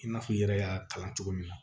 I n'a fɔ i yɛrɛ y'a kalan cogo min na